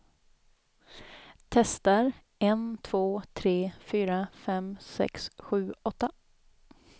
Testar en två tre fyra fem sex sju åtta.